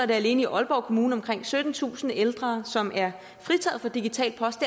det alene i aalborg kommune omkring syttentusind ældre som er fritaget for digital post